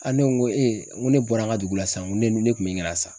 Aa ne ko n ko ee n ko ne bɔra an ka dugu la sisan, n ko ne kun be ɲini ka na sa.